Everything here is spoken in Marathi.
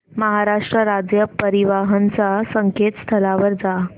महाराष्ट्र राज्य परिवहन च्या संकेतस्थळावर जा